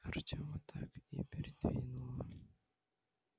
артема так и передёрнуло